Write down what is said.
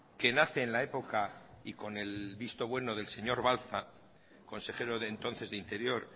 que nace en la época y con el visto bueno del señor balza consejero de entonces de interior